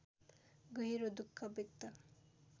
गहिरो दुःख व्यक्त